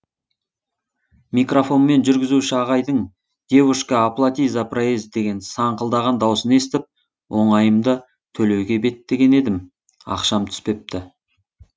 микрофонмен жүргізуші ағайдың девушка оплати за проезд деген саңқылдаған дауысын естіп оңайымды төлеуге беттеген едім ақшам түспепті